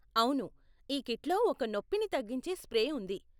అవును, ఈ కిట్లో ఒక నొప్పిని తగ్గించే స్ప్రే ఉంది.